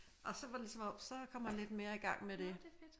Og så var det lidt som om så kom han lidt mere i gang med det